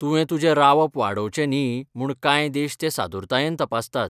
तुवें तुजें रावप वाडोवचें न्ही म्हूण कांय देश तें सादुरतायेन तपासतात.